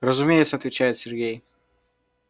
разумеется отвечает сергей